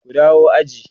ku dawo aji!